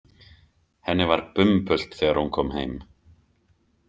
Henni var bumbult þegar hún kom heim.